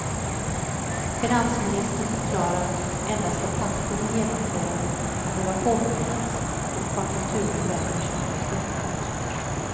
Finansministern förklarar endast att takten i genomförandet kan behöva påskyndas om konjunkturen vänder snabbt uppåt.